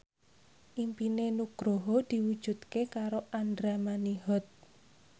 impine Nugroho diwujudke karo Andra Manihot